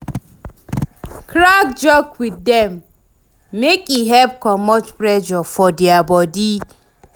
Crack joke wit dem mek e help comot pressure for dia body